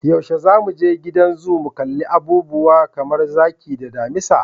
Yaushe zamu je gidan zoo mu kalli abubuwa kamar zaki da damisa?